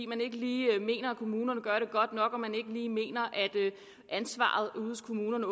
man ikke lige mener at kommunerne gør det godt nok og man åbenbart ikke lige mener at ansvaret ude hos kommunerne